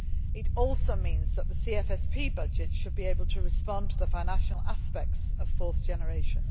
to act. It also means that the CFSP budget should be able to respond to the financial aspects of force generation.